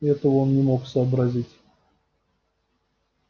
этого он не мог сообразить